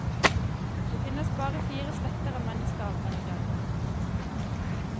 Det finnes bare fire slekter av menneskeaper i dag.